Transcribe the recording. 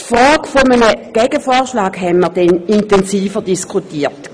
Die Frage eines Gegenvorschlags haben wir dann intensiver diskutiert.